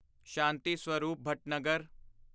Shanti Swarup Bhatnagar